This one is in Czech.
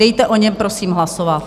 Dejte o něm prosím hlasovat.